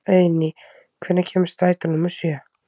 Eiðný, hvenær kemur strætó númer sjö?